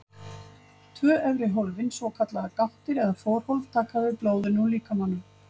Tvö efri hólfin, svokallaðar gáttir eða forhólf, taka við blóðinu úr líkamanum.